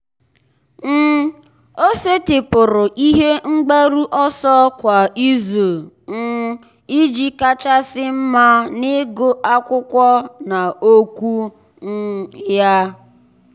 um ọ́ sètị́pụ̀rụ̀ ihe mgbaru ọsọ kwa ìzù um iji kàchàsị́ mma n’ị́gụ́ ákwụ́kwọ́ na okwu um ya.